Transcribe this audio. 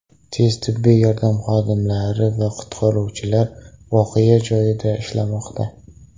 Tez-tibbiy yordam xodimlari va qutqaruvchilar voqea joyida ishlamoqda.